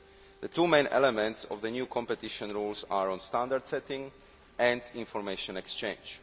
The two main elements of the new competition rules are on standard setting and information exchange.